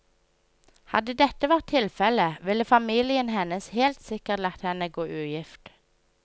Hadde dette vært tilfelle, ville familien hennes helt sikkert latt henne gå ugift.